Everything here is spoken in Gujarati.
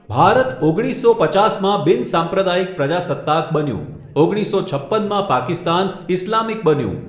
ભારત ઓગણીસસો પચાસમાં બિનસાંપ્રદાયિક પ્રજાસત્તાક બન્યું, ઓગણીસો છપ્પનમાં પાકિસ્તાન ઇસ્લામિક બન્યું.